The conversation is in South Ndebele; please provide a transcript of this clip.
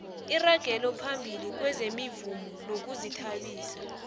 iragelophambili kwezemivumo nokuzithabisa